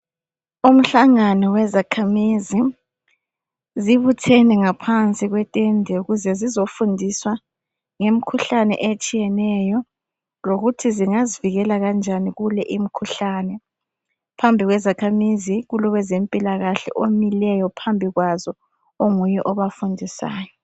Umhlangano wezakhamizi, zibuthene ngaphansi kwetende ukuze zizofundiswa ngemkhuhlane etshiyeneyo lokuthi zingazivikela kanjani kulemkhuhlane. Phambi kwezakhamizi, kolowezempilakahle omileyo phambi kwazo, onguye obafundisayo.